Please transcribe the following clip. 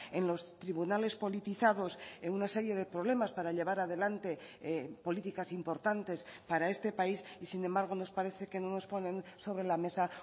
en los tribunales politizados en una serie de problemas para llevar adelante políticas importantes para este país y sin embargo nos parece que no nos ponen sobre la mesa